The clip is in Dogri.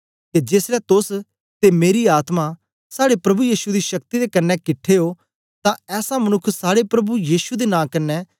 के जेसलै तोस ते मेरी आत्मा साड़े प्रभु यीशु दी शक्ति दे कन्ने किट्ठे ओ तां ऐसा मनुक्ख साड़े प्रभु यीशु दे नां कन्ने